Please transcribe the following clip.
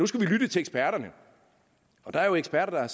skulle lytte til eksperterne og der er jo eksperter